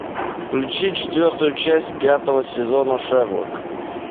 включи четвертую часть пятого сезона шерлок